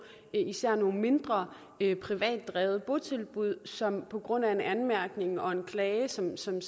at især nogle mindre privatdrevne botilbud som på grund af en anmærkning og en klage som som